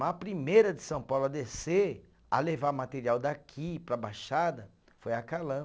Mas a primeira de São Paulo a descer, a levar material daqui para a Baixada, foi a Kallan.